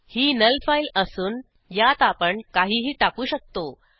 ही null file असून यात आपण काहीही टाकू शकतो